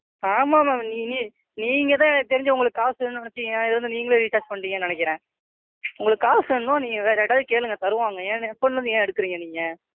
ஆமா Ma'am நீ நீங்க தான் எனக்கு தெரிஞ்சுஉங்களுக்கு காசு வேணும்னு நினைச்சு என் இதுல இருந்து நீங்களே Recharge பண்ணிட்டீங்கன்னு நினைக்கிறேன். உங்களுக்கு காசு வேணும்னா நீங்க வேற யார்கிட்டயாவது கேளுங்க தருவாங்க. என் Account ல இருந்து ஏன் எடுக்குறீங்க நீங்க?